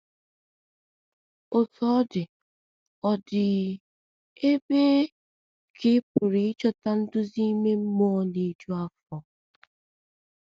Otú ọ dị, ọ dị, um ebee um ka ị pụrụ ịchọta nduzi ime mmụọ na - eju afọ?